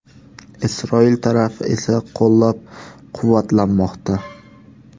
Isroil tarafi esa qo‘llab-quvvatlamoqda.